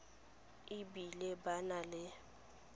e bile ba na le